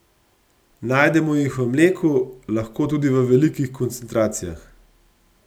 Najdemo jih v mleku, lahko tudi v velikih koncentracijah.